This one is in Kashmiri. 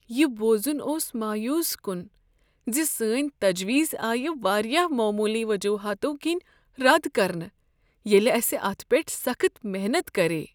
یہ بوزن اوس مایوس کن ز سٲنۍ تجویز آیہ واریاہ معمولی وجوہاتو کِنۍ رد کرنہٕ ییٚلہ اسہ اتھ پیٹھ سخت محنت کرییہ۔